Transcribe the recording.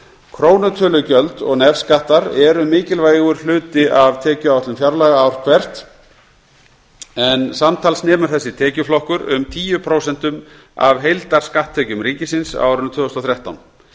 krónutölugjöld og nefskattar eru mikilvægur hluti af tekjuáætlun fjárlaga ár hvert en samtals nemur þessi tekjuflokkur um tíu prósent af heildarskatttekjum ríkisins á árinu tvö þúsund og þrettán